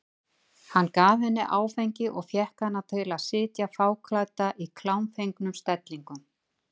Hann gaf henni áfengi og fékk hana til að sitja fáklædda fyrir í klámfengnum stellingum.